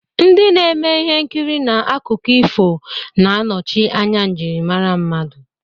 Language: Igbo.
Ndị na-eme ihe nkiri na akụkọ ifo na-anọchi anya njirimara mmadụ.